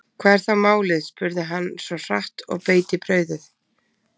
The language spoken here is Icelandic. Hvað er þá málið, spurði hann svo hratt og beit í brauðið.